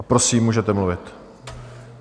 A prosím, můžete mluvit.